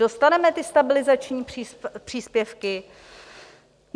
Dostaneme ty stabilizační příspěvky?